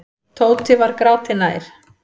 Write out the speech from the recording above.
Tóti var gráti nær.